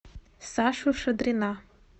сашу шадрина